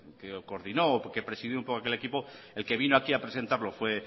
que coordinó o que presidió aquel equipo el que vino aquí a presentarlo fue